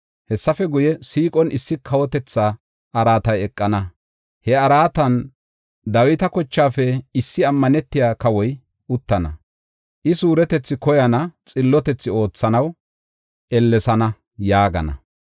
Hessafe guye, siiqon issi kawotetha araatay eqana; he araatan, Dawita kochaafe issi ammanetiya kawoy uttana. I suuretetha koyana; xillotethaa oothanaw ellesana” yaagana.